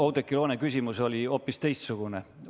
Oudekki Loone küsimus oli hoopis teistsugune.